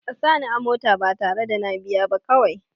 A sa ni a mota ba tare da na biya ba kawai